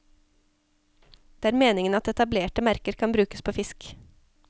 Det er meningen at etablerte merker kan brukes på fisk.